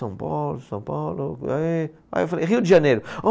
São Paulo, São Paulo... Aí, aí eu falei, Rio de Janeiro. Ah